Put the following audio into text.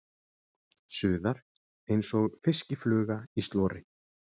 Suðar einsog fiskifluga í slori.